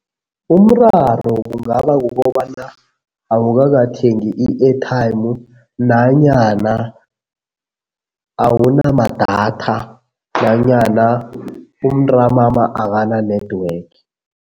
Umraro kungaba kukobana awukakathengi i-airtime nanyana awunamadatha nanyana umntamama akana-network.